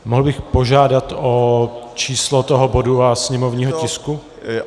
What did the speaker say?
Mohl bych požádat o číslo toho bodu a sněmovního tisku?